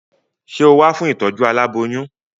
Sé o wá fún ìtọ́jú aláboyún?